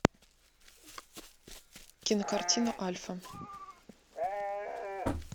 кинокартина альфа